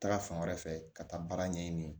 Taga fan wɛrɛ fɛ ka taa baara ɲɛɲini